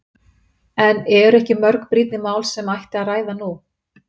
En eru ekki mörg brýnni mál sem ætti að ræða nú?